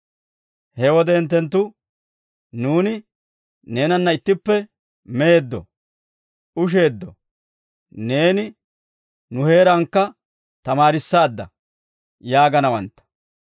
«He wode hinttenttu, ‹Nuuni neenanna ittippe meeddo; usheeddo; neeni nu heerankka tamaarissaadda› yaaganawantta.